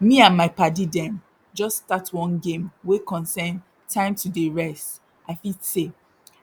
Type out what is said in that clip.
me and my padi dem jus start one game wey concern time to dey rest i fit say